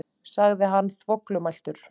sagði hann þvoglumæltur.